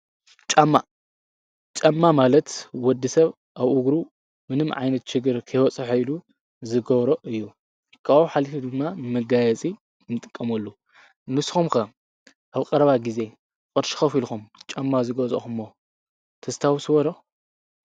ጫማ ማለት ወዲሰብ ኣብ እጉሩ ምንም ዓይነት ችገር ከይበፅሖ ኢሉ ዝገብሮ እዩ ካበኡ ሓሊፉ ድማ ንመጋየፂ ኢሉ ንጥቀመሉ። ንስኩምከ ኣብ ቀረባ ግዜ ቅርሺ ጫማ ከፊልኩም ዝገዛእኩሞ ተስታውስዎ ዶ?